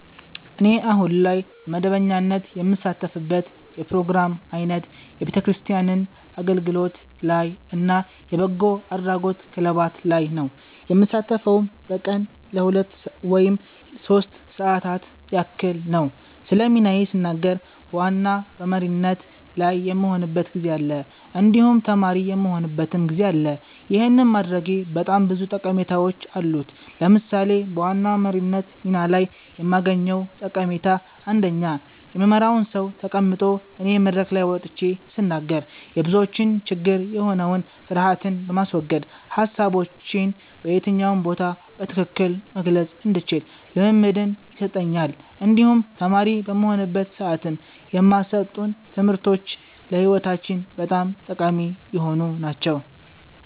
እኔ አሁን ላይ በመደበኛነት የምሳተፍበት የፕሮግራም አይነት የቤተክርስቲያን አገልግሎት ላይ እና የበጎ አድራጎት ክለባት ላይ ነዉ። የምሳተፈዉም በቀን ለሁለት ወይም ሶስት ሰዓታት ያክል ነዉ። ስለ ሚናዬ ስናገር በዋና በመሪነት ላይ የምሆንበትም ጊዜ አለ እንዲሁም ተማሪ የምሆንበትም ጊዜ አለ ይህን ማድረጌ በጣም ብዙ ጠቀሜታዎች አሉት። ለምሳሌ በዋና መሪነት ሚና ላይ የማገኘዉ ጠቀሜታ አንደኛ የምመራዉ ሰዉ ተቀምጦ እኔ መድረክ ላይ ወጥቼ ስናገር የብዙዎች ችግር የሆነዉን ፍርሀትን በማስወገድ ሀሳቦቼን በየትኛው ቦታ በትክክል መግለፅ እንድችል ልምምድን ይሰጠኛል እንዲሁም ተማሪ በምሆንበት ሰዓትም የማሰጡን ትምህርቶች ለህይወታችን በጣም ጠቃሚ የሆኑ ናቸዉ።